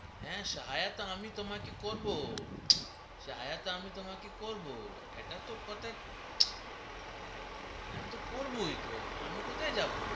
হে সহায়তা আমি তোমাকে করবোই হে সহায়তা আমি তোমাকে করবোই সেটা তো কথা আমি তোমাকে করবোই গো আমি কোথায় যাবো